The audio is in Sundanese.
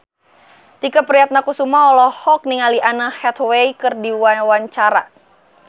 Tike Priatnakusuma olohok ningali Anne Hathaway keur diwawancara